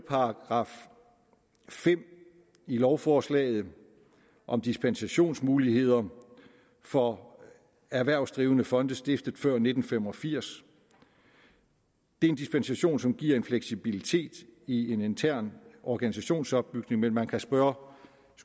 fire i lovforslaget om dispensationsmuligheder for erhvervsdrivende fonde stiftet før nitten fem og firs det er en dispensation som giver en fleksibilitet i en intern organisationsopbygning men man kan spørge